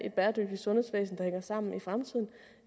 et bæredygtigt sundhedsvæsen der hænger sammen